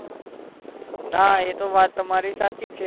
ના એતો વાત તમારી સાચી જ છે